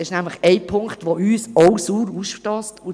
Es gibt nämlich einen Punkt, der auch uns sauer aufstösst.